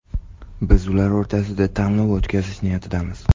Biz ular o‘rtasida tanlov o‘tkazish niyatidamiz.